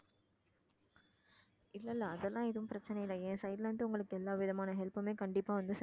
இல்ல இல்ல அதெல்லாம் எதுவும் பிரச்சனை இல்ல என் side ல இருந்து உங்களுக்கு எல்லாவிதமான help மே கண்டிப்பா வந்து